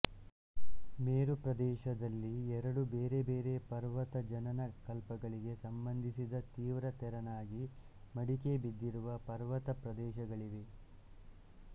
ಮೇರುಪ್ರದೇಶದಲ್ಲಿ ಎರಡು ಬೇರೆ ಬೇರೆ ಪರ್ವತಜನನ ಕಲ್ಪಗಳಿಗೆ ಸಂಬಂಧಿಸಿದ ತೀವ್ರ ತೆರನಾಗಿ ಮಡಿಕೆಬಿದ್ದಿರುವ ಪರ್ವತಪ್ರದೇಶಗಳಿವೆ